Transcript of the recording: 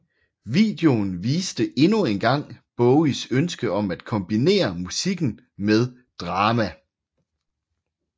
Videoen viste endnu en gang Bowies ønske om at kombinere musikken med drama